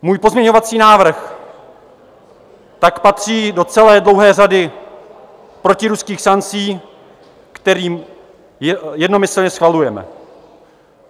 Můj pozměňovací návrh tak patří do celé dlouhé řady protiruských sankcí, který jednomyslně schvalujeme.